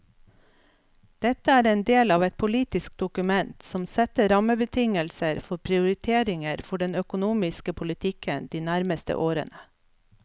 Dette er en del av et politisk dokument som setter rammebetingelser for prioriteringer for den økonomiske politikken de nærmeste årene.